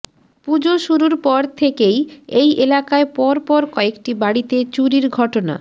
পুজো শুরুর পর থেকেই এই এলাকায় পরপর কয়েকটি বাড়িতে চুরির ঘটনা